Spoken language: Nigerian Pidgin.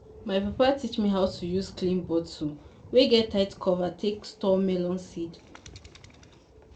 my papa teach me how to use clean bottle wey get tight cover take store melon seed.